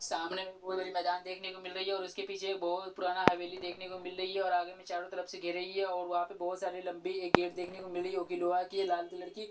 सामने में बहुत बड़ी मैदान देखने को मिल रही है और उसके पीछे एक बहुत पुराना हवेली देखने को मिल रही है और आगे में चारों तरफ से घे रही है और वहां पे बहुत सारे लंबी एक गेट देखने को मिल रही है ओकिलोआ की लाल कलर की ----